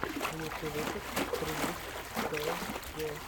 лучший выпуск прилив цеэс го